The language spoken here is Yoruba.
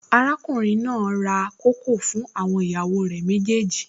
Arákùnrin náà ra kókò fún àwọn ìyàwó rẹ̀ méjèèjì